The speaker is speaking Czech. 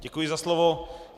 Děkuji za slovo.